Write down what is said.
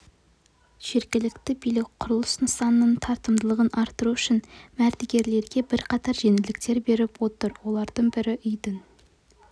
жергілікті билік құрылыс нысанының тартымдылығын арттыру үшін мердігерлерге бірқатар жеңілдіктер беріп отыр олардың бірі үйдің